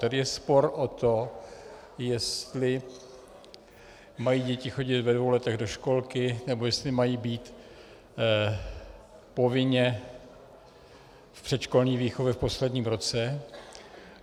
Tady je spor o to, jestli mají děti chodit ve dvou letech do školky, nebo jestli mají být povinně v předškolní výchově v posledním roce.